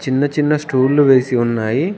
చిన్న చిన్న స్టూళ్లు వేసి ఉన్నాయి.